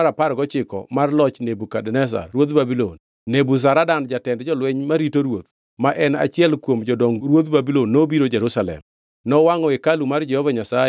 E odiechiengʼ mar abiriyo mar dwe mar abich e higa mar apar gochiko mar loch Nebukadneza ruodh Babulon, Nebuzaradan jatend jolweny marito ruoth, ma en achiel kuom jodong ruodh Babulon nobiro Jerusalem.